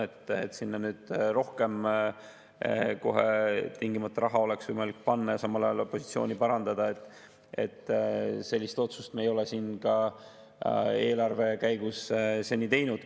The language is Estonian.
Sellist otsust, et sinna nüüd oleks tingimata võimalik kohe rohkem raha panna – –, me ei ole eelarve menetlemise käigus seni teinud.